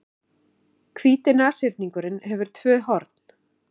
Hvíti nashyrningurinn hefur tvö horn.